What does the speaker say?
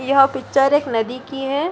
यह पिक्चर एक नदी की है।